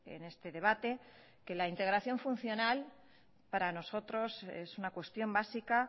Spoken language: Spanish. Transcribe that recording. en este debate que la integración funcional para nosotros es una cuestión básica